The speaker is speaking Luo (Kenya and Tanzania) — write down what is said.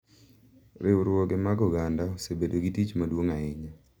Riwruoge mag oganda osebedo gi tich maduong' ahinya